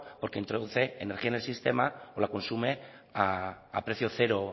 porque introduce energía en el sistema o la consume a precio cero